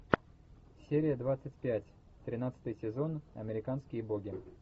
серия двадцать пять тринадцатый сезон американские боги